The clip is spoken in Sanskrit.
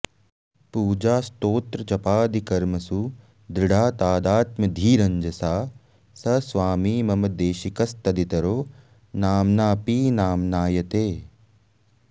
पूजास्तोत्रजपादिकर्मसु दृढा तादात्म्यधीरञ्जसा स स्वामी मम देशिकस्तदितरो नाम्नाऽपि नाम्नायते